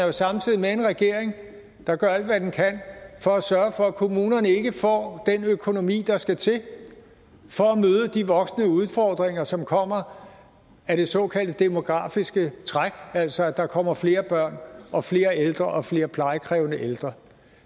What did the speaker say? er samtidig med i en regering der gør alt hvad den kan for at sørge for at kommunerne ikke får den økonomi der skal til for at møde de voksende udfordringer som kommer af det såkaldte demografiske træk altså at der kommer flere børn og flere ældre og flere plejekrævende ældre